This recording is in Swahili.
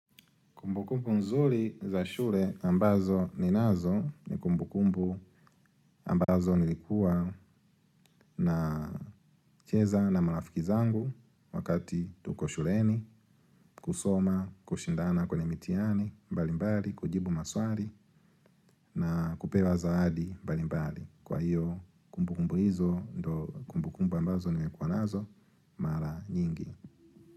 Kumbukumbu nzuri za shule ambazo ninazo ni kumbukumbu ambazo nilikuwa nacheza na marafiki zangu wakati tuko shuleni, kusoma, kushindana kwenye mitihani, mbalimbali, kujibu maswali na kupewa zawadi mbalimbali. Kwa hiyo kumbukumbu hizo, kumbukumbu ambazo nilikuwa nazo, mara nyingi.